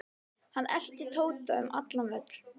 Hann elti Tóta um allan völl.